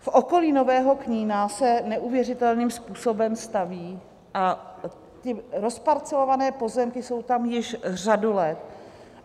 V okolí Nového Knína se neuvěřitelným způsobem staví a ty rozparcelované pozemky jsou tam již řadu let.